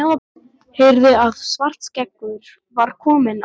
Heyrði að Svartskeggur var kominn að lyftunni.